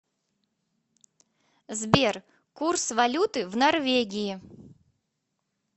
сбер курс валюты в норвегии